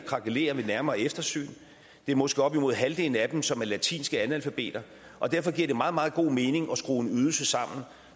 krakelerer ved nærmere eftersyn det er måske op imod halvdelen af dem som er latinske analfabeter og derfor giver det meget meget god mening at skrue en ydelse sammen